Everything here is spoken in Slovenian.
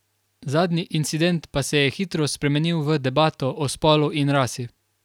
Zadnji incident pa se je hitro spremenil v debato o spolu in rasi.